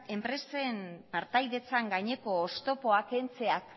enpresen partaidetzen gaineko oztopoa kentzeak